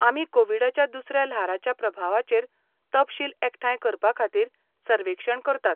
आमी कोविडाच्या दुसऱ्या ल्हाराच्या प्रभावाचेर तपशील एकठांय करपाखातीर सर्वेक्षण करतात.